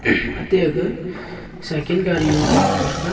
ate ga cycle gaari long jo po tega.